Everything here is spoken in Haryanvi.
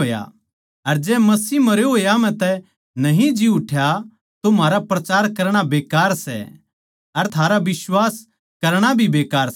अर जै मसीह मरे होया म्ह तै न्ही जी उठ्या तो म्हारा प्रचार करणा बेकार सै अर थारा बिश्वास करणा भी बेकार सै